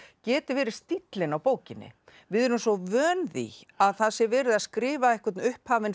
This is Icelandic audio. geti verið stíllinn á bókinni við erum svo vön því að það sé verið að skrifa einhvern upphafinn